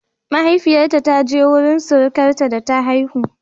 Mahaifiyarta ta je wurin surukarta da ta haihu